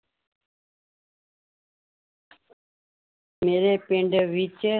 ਮੇਰੇ ਪਿੰਡ ਵਿੱਚ